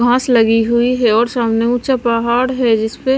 घास लगी हुई है और सामने ऊंचा पहाड़ है जिस पे--